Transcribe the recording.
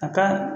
A ka